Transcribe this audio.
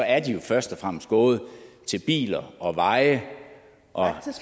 er de jo først og fremmest gået til biler og veje og